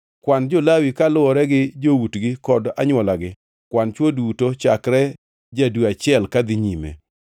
“Kwan jo-Lawi kaluwore gi joutgi kod anywolagi. Kwan chwo duto chakre ja-dwe achiel kadhi nyime.”